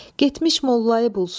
Getmiş mollayı bulsun.